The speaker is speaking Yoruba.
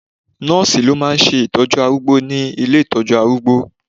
Nọ́ọ̀sì ló máà ń ṣe ìtọ́jú arúgbó ní ile ìtọ́jú arúgbó